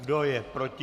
Kdo je proti?